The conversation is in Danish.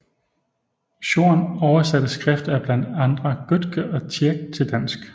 Schorn oversatte skrifter af blandt andre Goethe og Tieck till dansk